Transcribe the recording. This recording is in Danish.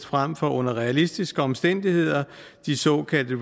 frem for under realistiske omstændigheder de såkaldte